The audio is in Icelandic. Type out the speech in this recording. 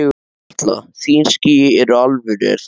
Erla: Þín ský eru alvöru er það ekki?